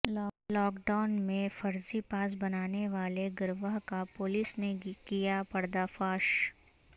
lock down میںفرضی pass بنانے والے گروہ کاپولس نے کیا پردہ فاش